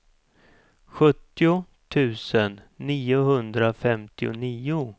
sjuttio tusen niohundrafemtionio